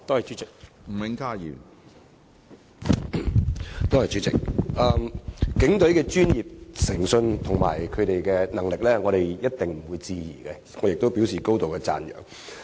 主席，警隊的專業誠信和能力毋庸置疑，我亦要表示高度讚揚。